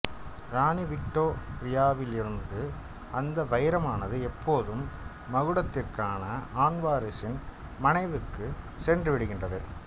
ராணி விக்டோரியாவிலிருந்து அந்த வைரமானது எப்போதும் மகுடத்திற்கான ஆண் வாரிசின் மனைவிக்குச் சென்றுவிடுகின்றது